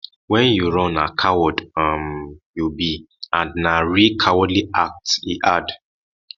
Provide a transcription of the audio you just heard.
wen you run na coward um you be and na real cowardly act e add